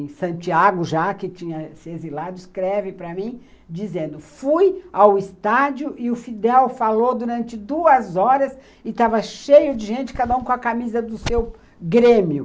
em Santiago, já que tinha se exilado, escreve para mim, dizendo, fui ao estádio e o Fidel falou durante duas horas e estava cheio de gente, cada um com a camisa do seu Grêmio.